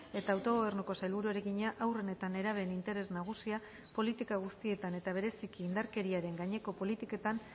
eta autogobernuko sailburuari egina haurren eta nerabeen interes nagusia politika guztietan eta bereziki indarkeriaren gaineko politiketan